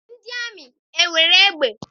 Ndị amị enwere egbe?